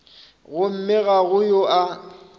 gomme ga go yo a